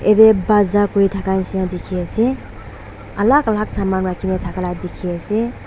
ete bazaar kuri thaka nishe na dikhi ase alak alak saman rakhine thaka la dikhi ase.